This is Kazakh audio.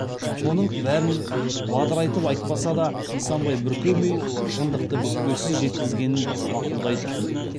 соның бәрін бадырайтып айтпаса да нысанбай бүркемей шындықты бүкпесіз жеткізгенін мақұлдайды